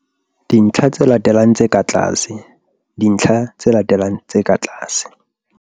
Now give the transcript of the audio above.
dintlha tse latelang tse ka tlase. dintlha tse latelang tse ka tlase.